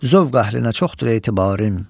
Zövq əhlinə çoxdur etibarim.